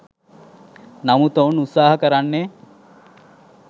නමුත් ඔවුන් උත්සාහ කරන්නේ